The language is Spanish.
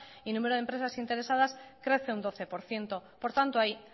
y número de empresas interesadas crece un doce por ciento por tanto hay